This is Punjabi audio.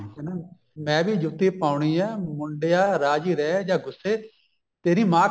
ਕਹਿੰਦਾ ਮੈਂ ਵੀ ਜੁੱਤੀ ਪਾਉਣੀ ਐ ਮੁੰਡਿਆ ਰਾਜੀ ਰਹਿ ਜਾ ਗੂੱਸੇ ਤੇਰੀ ਮਾਂ